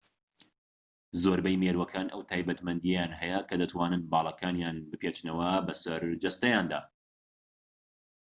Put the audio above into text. زۆربەی مێرووەکان ئەو تایبەتمەندییەیان هەیە کە دەتوانن باڵەکانیان بپێچنەوە بە سەر جەستەیاندا